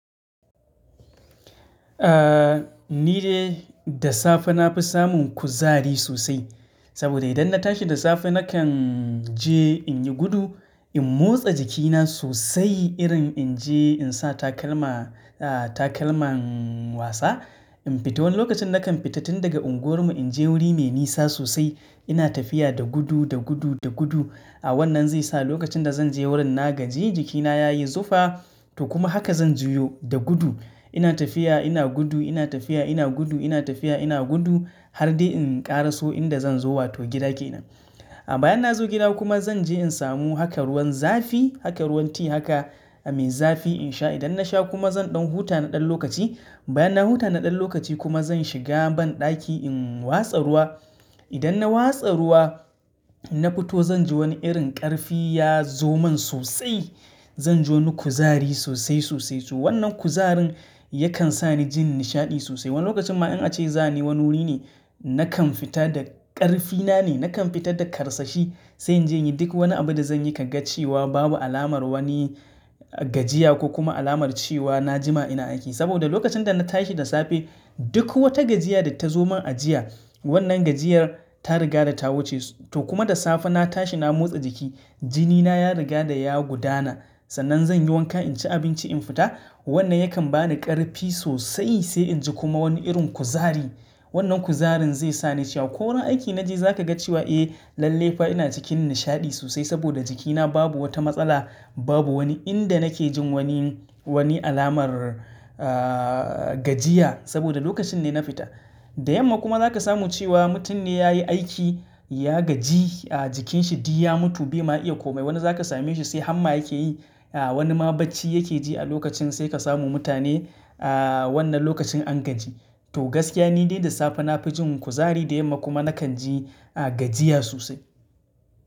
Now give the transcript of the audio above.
Ahhh, ni dai da safe nafi samun kuzari sosai. Saboda idan na tashi da safe nakan je in yi gudu, in motsa jikina sosai irin in je in sa takalma, ahhh takalman wasa, in fita wani lokacin nakan fita tun daga unguwarmu in je wuri mai nisa sosai. Ina tafiya da gudu, da gudu, da gudu. A wannan zai sa lokacin da zan je wurin na gaji jikina ya yi zufa, to kuma haka zan juyo da gudu. Ina tafiya ina gudu, ina tafiya ina gudu, ina tafiya ina gudu har dai in ƙara so inda zan zo wato gida kenan. A bayan na zo gida kuma zan je in samu haka ruwan zafi, haka ruwan ti haka mai zafi in sha. Idan na sha kuma zan ɗan huta na ɗan lokaci. Bayan na huta na ɗan lokaci kuma zan shiga banɗaki in watsa ruwa. Idan na watsa ruwa, na fito zan ji wani irin ƙarfi ya zo man sosai. Zanji wani kuzari sosai, sosai. To wannan kuzarin yakan sa ni jin nishaɗi sosai. Wani lokacin ma in a ce za ni wani wuri ne, nakan fita da ƙarfina ne, nakan fita da karsashi sai in je yin duk wani abu da zan yi ka ga cewa babu alamar wani gajiya ko kuma alamar cewa na jima ina aiki. Saboda lokacin da na tashi da safe duk wata gajiya da ta zo man a jiya, wannan gajiyar ta riga da ta wuce. To kuma da safe na tashi na motsa jiki, jinina ya riga da ya gudana. Sannan zan yi wanka, in ci abinci in fita. Wannan yakan ba ni ƙarfi sosai sai in ji kuma wani irin kuzari. Wannan kuzarin zai sa ni cewa ko wani aiki naji za ka ga cewa, eh lalle fa ina cikin nishaɗi sosai saboda jikina babu wata matsala, babu wani inda nake jin wani, wani alamar ahhh gajiya saboda lokacin ne na fita. Da yamma kuma za ka samu cewa mutum ne ya yi aiki, ya gaji ahhh jikinsa di ya mutu bai ma iya komai. Wani za ka same shi sai hamma yake yi. Ahhh wani ma bacci yake ji a lokacin sai ka samu mutane ahhh wannan lokacin an gaji. To gaskiya ni dai da safe na fi jin kuzari da yamma kuma na kan ji gajiya sosai.